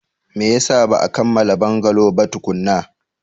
Me yasa ba a kammala bungalow ba tukuna?